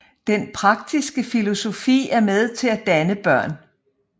Den praktiske filosofi er med til at danne børn